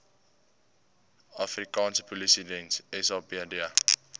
afrikaanse polisiediens sapd